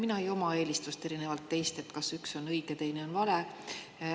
Mina ei oma eelistust, erinevalt teist, kas üks on õige, teine on vale.